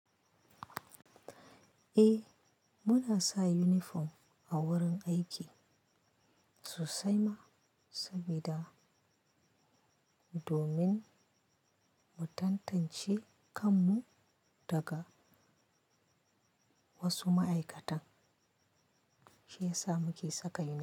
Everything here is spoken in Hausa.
Eh, muna sa uniform a wurin aiki, sosai ma, sabida domin, mu tantance kanmu daga wasu ma'aikatan, shi yasa muke saka uniform.